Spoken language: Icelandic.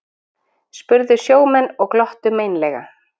spurðu sjómenn og glottu meinlega.